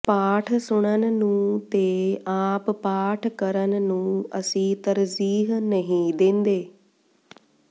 ਪਾਠ ਸੁਣਨ ਨੂੰ ਤੇ ਆਪ ਪਾਠ ਕਰਨ ਨੂੰ ਅਸੀਂ ਤਰਜੀਹ ਨਹੀਂ ਦੇਂਦੇ